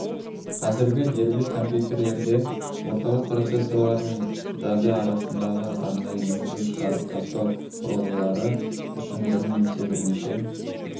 қазіргі дербес компьютерлерде орталық процессорлармен жады арасындағы арнайы енгізу шығарып тастау құрылғылары үшін бір немесе бірнеше